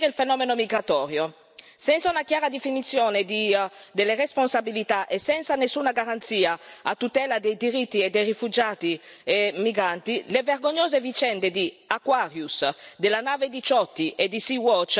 Senza una chiara definizione delle responsabilità e senza nessuna garanzia a tutela dei diritti dei rifugiati e dei migranti, le vergognose vicende di Aquarius, della nave Diciotti e di Sea Watch diventeranno la prassi.